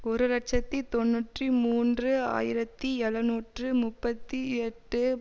ஒரு இலட்சத்தி தொன்னூற்றி மூன்று ஆயிரத்தி எழுநூற்று முப்பத்தி எட்டு